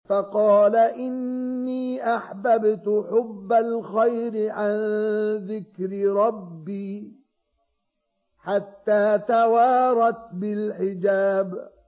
فَقَالَ إِنِّي أَحْبَبْتُ حُبَّ الْخَيْرِ عَن ذِكْرِ رَبِّي حَتَّىٰ تَوَارَتْ بِالْحِجَابِ